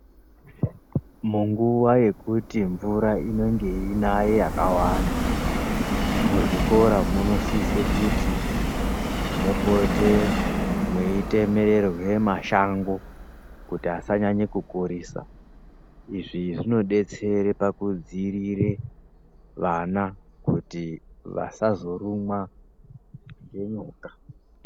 Munguwa yekuti mvura inenge yeyi yanaya yakawanda muzvikora munosisekuti mupote mweitemererwe mashango kuti asanyanya kukurisa izvi zvinodetsera pakudzirire vana kuti vasazorumwa ngenyoka.